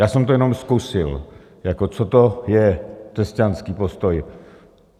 Já jsem to jenom zkusil, jako co to je křesťanský postoj.